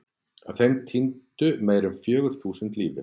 Af þeim týndu meira en fjögur þúsund lífi.